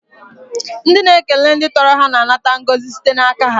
Ndị na ekele ndị tọrọ ha na anata ngọzi site n'aka ha.